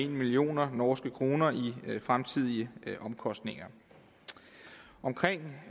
million norske kroner i fremtidige omkostninger omkring